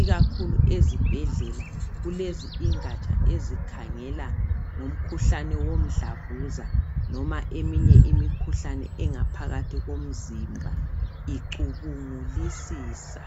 ikakhulu ezibhedlela kulezi ingatsha ezikhangela ngomkhuhlane womdlavuza noma eminye imikhuhlane engaphakathi komzimba icubungulisisa.